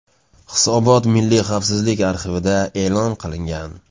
Hisobot Milliy xavfsizlik arxivida e’lon qilingan.